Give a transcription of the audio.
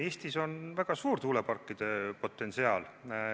Eestis on väga suur tuuleparkide potentsiaal.